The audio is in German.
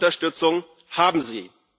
Unsere Unterstützung haben Sie.